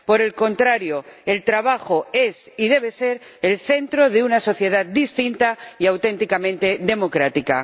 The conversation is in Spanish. Por el contrario, el trabajo es y debe ser el centro de una sociedad distinta y auténticamente democrática.